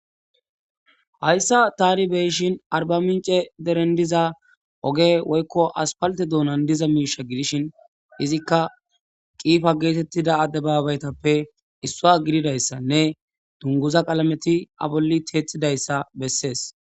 Hayssa tani beyishin arba mince deren diza oge woykko aspalte duunan diza miisha gidishin izikka qiifa geetettida addebaabaytappe issua gididayssanne dunguza qalameti abolli teethidayssa bessees.